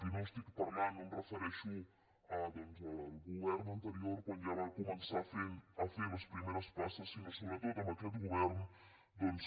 i no estic parlant no em refereixo al govern anterior quan ja va començar a fer les primeres passes sinó sobretot a aquest govern doncs